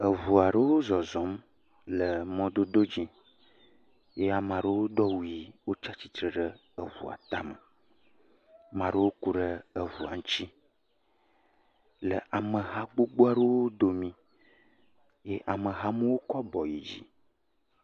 Eʋu aɖewo zɔzɔm le mɔdodo aɖe dzi eye ame aɖewo do awu ɣi eye wotsi tsitre ɖe eʋua tame. Maa ɖewo kuɖe eʋua ŋuti le ameha gbogbo aɖewo domi. Ye amehawo kɔ abo yi dzi.